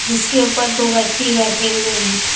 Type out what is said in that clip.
जिसके ऊपर दो व्यक्ति बैठे हुए हैं।